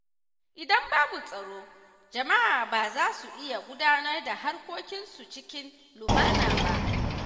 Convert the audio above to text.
Idan babu tsaro, jama’a ba za su iya gudanar da harkokinsu cikin lumana ba.